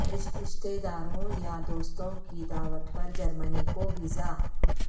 رشتہ داروں یا دوستوں کی دعوت پر جرمنی کو ویزا